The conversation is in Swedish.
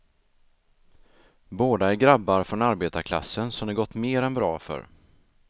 Båda är grabbar från arbetarklassen som det gått mer än bra för.